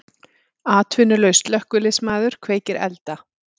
Atvinnulaus slökkviliðsmaður kveikir elda